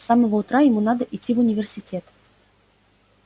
с самого утра ему надо идти в университет